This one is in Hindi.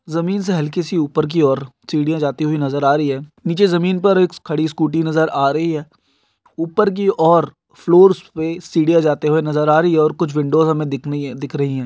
जमीन से हल्की सी ऊपर की ओर सीढिया जाती हुई नजर आ रही हे नीचे जमीन पर एक खड़ी स्कूटी नज़र् आ रही हे ऊपर की ओर फ्लोर्स पर सीढिया जाती हुई नजर आ रही हे और कुछ विंडोज़ हमे दिख दिख रही हे।